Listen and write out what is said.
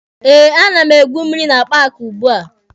Eh, a na m egwu mmịrị na paaki ugbua.